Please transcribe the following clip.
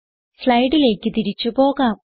സ്ലൈഡിലേക്ക് തിരിച്ച് പോകാം